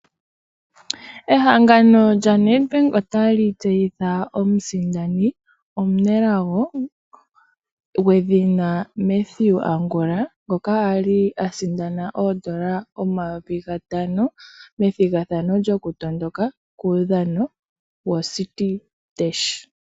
Ehangano lya Nedbank otali tseyitha omusindani omunelago gwedhina Mathew Angula ngoka ali asindana oondola omayovi gatano methigathano lyokumatuka kuudhano wo City Dash.